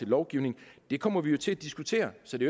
lovgivning det kommer vi jo til at diskutere så det